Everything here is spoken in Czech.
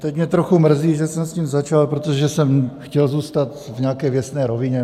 Teď mě trochu mrzí, že jsem s tím začal, protože jsem chtěl zůstat v nějaké věcné rovině.